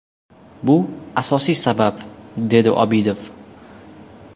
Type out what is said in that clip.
Bu asosiy sabab”, dedi Obidov.